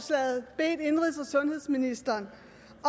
sundhedsministeren